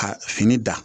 Ka fini da